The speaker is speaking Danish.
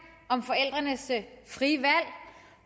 om forældrenes frie valg